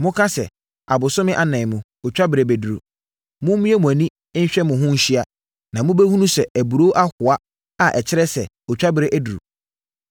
Moka sɛ, ‘Abosome anan mu, otwaberɛ bɛduru.’ Mommue mo ani nhwɛ mo ho nhyia, na mobɛhunu sɛ aburoo ahoa a ɛkyerɛ sɛ, otwaberɛ aduru!